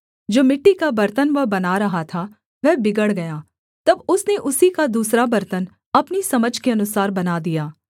जो मिट्टी का बर्तन वह बना रहा था वह बिगड़ गया तब उसने उसी का दूसरा बर्तन अपनी समझ के अनुसार बना दिया